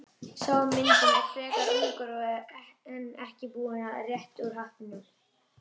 Sá á myndinni er frekar ungur og enn ekki búinn að rétta úr hattinum.